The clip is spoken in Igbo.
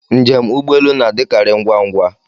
Njem ụgbọelu na-adịkarị ngwa ngwa.